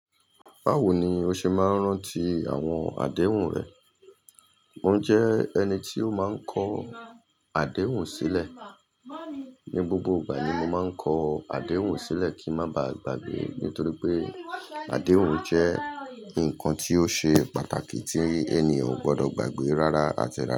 Báwo ni o ṣe máa ń rántí àwọn àdéhùn rẹ? Mo jẹ́ ẹni tí ó máa ń kọ àdéhùn sílẹ̀. Ni gbogbo ìgbà ni mo máa ń kọ àdéhùn sílẹ̀ kí ń má ba à gbàgbé, nítorí pé àdéhùn jẹ́ nǹkan tí ó ṣe pàtàkì tí ènìyàn ò gbọdọ̀ gbàgbé rárá, ati rara.